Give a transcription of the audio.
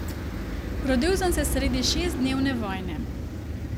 Rodil sem se sredi šestdnevne vojne.